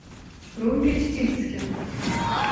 румпельштильцхен